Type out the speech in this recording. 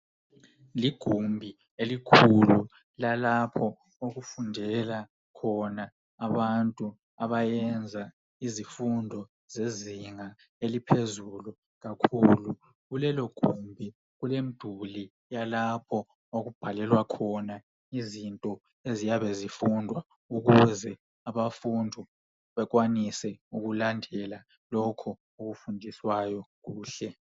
Ligumbi elikhulu lalapho okufundela khona abantu abayenza izifundo zezinga eliphezulu kakhulu. Kulelo gumbi kulomduli yalapho okubhalelwa khona izinto eziyabe zifundwa ukuze abafundo bekwanise ukulandela lokho okufundiswayo kuhle.